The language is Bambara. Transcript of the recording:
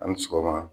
Ani sɔgɔma